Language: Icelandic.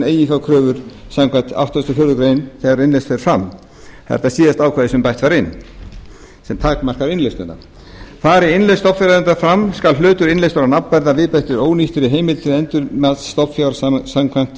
eiginfjárkröfur samkvæmt áttugustu og fjórðu grein þegar innlausn fer fram þetta er síðasta ákvæðið sem bætt var inn til að takmarka innlausnina fari innlausn stofnfjáreiganda fram skal hlutur innleystur á nafnverði að viðbættri ónýttri heimild til endurmats stofnfjár samkvæmt